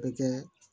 Bɛ kɛ